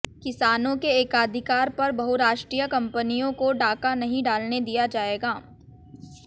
किसानों के एकाधिकार पर बहुराष्ट्रीय कंपनियों को डाका नहीं डालने दिया जाएगा